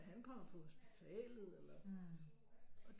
Er han kommet på hospitalet eller